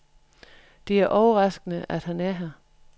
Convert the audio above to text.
Det er overraskende, at han er her.